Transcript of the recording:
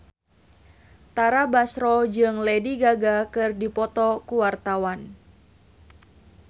Tara Basro jeung Lady Gaga keur dipoto ku wartawan